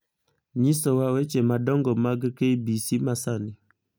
nyisowa weche madongo mag k. b. c. masani